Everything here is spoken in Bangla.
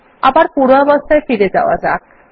আবার পূর্বাবস্থায় ফিরে যাওয়া যাক